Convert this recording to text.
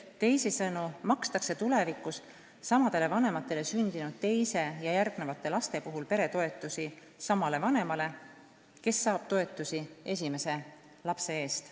Teisisõnu makstakse tulevikus samadele vanematele sündinud teise ja järgmiste laste puhul peretoetusi samale vanemale, kes on neid saanud esimese lapse eest.